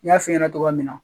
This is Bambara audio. I y'a fiiɲɛnɛ togoya min na.